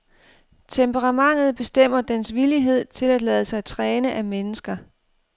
Temperamentet bestemmer dens villighed til at lade sig træne af mennesker.